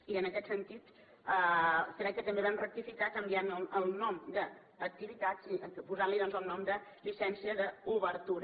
i en aquest sentit crec que també vam rectificar canviant el nom d’ activitats i posant li doncs el nom de llicència d’obertura